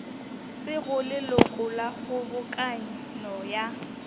sego leloko la kgobokano ya